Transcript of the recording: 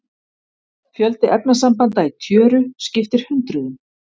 Fjöldi efnasambanda í tjöru skiptir hundruðum.